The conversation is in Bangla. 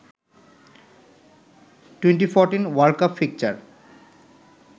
2014 world cup fixture